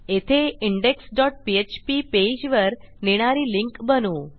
येथे index dot PHP पेजवर नेणारी लिंक बनवू